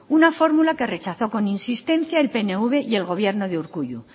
una fórmula que rechazó con insistencia el pnv y el gobierno de urkullu